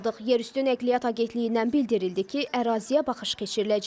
Yerüstü Nəqliyyat Agentliyindən bildirildi ki, əraziyə baxış keçiriləcək.